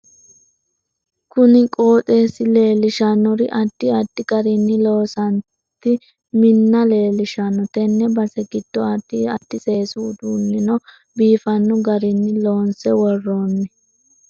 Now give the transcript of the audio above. Kunni qooxeesi leelishannori addi addi garinni loosanti minna leelishanno tenne base giddo addi addi seesu uduuneno biifanno garinni loonse worooni